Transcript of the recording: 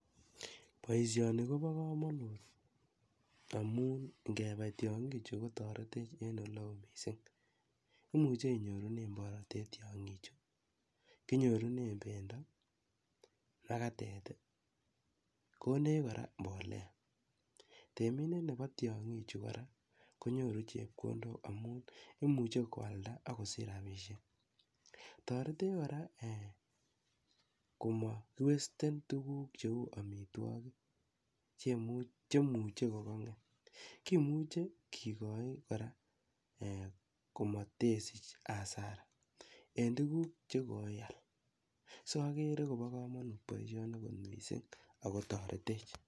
Boisioni kobo komonut amun ngebai tiong'ichu kotoretech en ole oo mising. Imuche inyorenen borotet tiong'ichu, kinyorune bendo, magatet, konech kora mbolea. Temindet nebo tiong'ichu kora, konyoru chepkondok amun imuche koalda ak kosich rabishek. Toretech kora komokiwasten tuguk cheu amitwogik che imuche kogang'et kimuche kigoi kora komotesich hasara en tuguk che koial. So kobo komonut boisioni mising ago toretech.